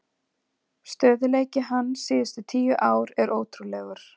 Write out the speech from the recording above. Stöðugleiki hans síðustu tíu ár er ótrúlegur.